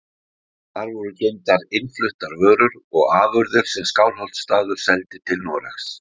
Þar voru geymdar innfluttar vörur og afurðir sem Skálholtsstaður seldi til Noregs.